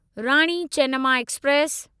Rani Chennamma express